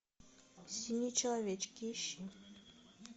синие человечки ищи